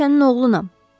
Mən sənin oğlunam.